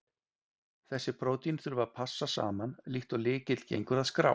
Þessi prótín þurfa að passa saman, líkt og lykill gengur að skrá.